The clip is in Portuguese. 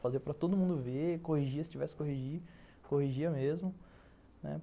Fazia para todo mundo ver, corrigia se tivesse que corrigir, corrigia mesmo.